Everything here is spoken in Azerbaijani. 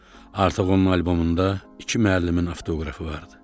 Artıq onun albomunda iki müəllimin avtoqrafı vardı.